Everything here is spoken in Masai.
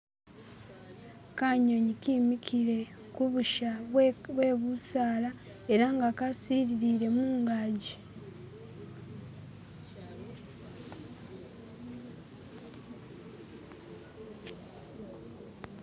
Kanyunyi kimikile kulusha lwe bisaala era nga kasililire mungajji